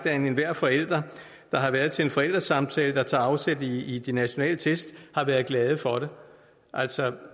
at enhver forælder der har været til en forældresamtale der tager afsæt i de nationale test har været glad for det altså